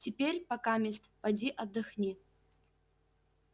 теперь покамест поди отдохни